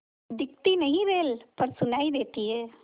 दिखती नहीं रेल पर सुनाई देती है